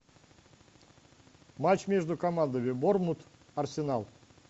матч между командами борнмут арсенал